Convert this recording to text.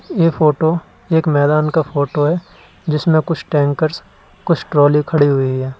ये फोटो एक मैदान का फोटो है जिसमें कुछ टैंकर्स कुछ ट्राली खड़ी हुई है।